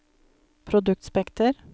produktspekter